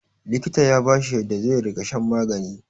likita ya bashi yadda zai riga shan magani